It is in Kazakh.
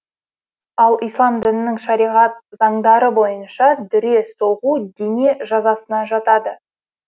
ал ислам дінінің шариғат заңдары бойынша дүре соғу дене жазасына жатады